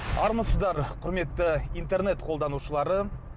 армысыздар құрметті интернет қолданушыларым